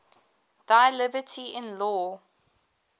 thy liberty in law